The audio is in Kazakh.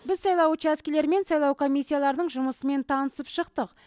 біз сайлау учаскелері мен сайлау комиссияларының жұмысымен танысып шықтық